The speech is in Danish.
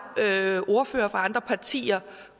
ordførere fra andre partier